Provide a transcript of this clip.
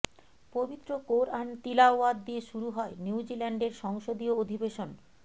পবিত্র কোরআন তিলাওয়াত দিয়ে শুরু হয় নিউজিল্যান্ডের সংসদীয় অধিবেশন